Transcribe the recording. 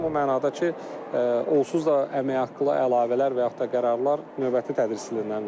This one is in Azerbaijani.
O mənada ki, onsuz da əmək haqqı əlavələr və yaxud da qərarlar növbəti tədris ilindən verilir.